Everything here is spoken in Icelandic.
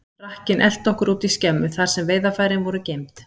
Rakkinn elti okkur út í skemmu, þar sem veiðarfærin voru geymd.